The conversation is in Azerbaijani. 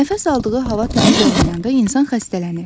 Nəfəs aldığı hava təmiz olmayanda insan xəstələnir.